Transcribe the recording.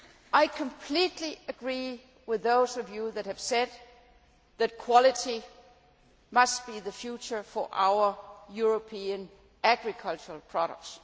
I completely agree with those of you who have said that quality must be the future for our European agricultural products.